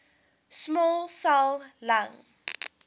small cell lung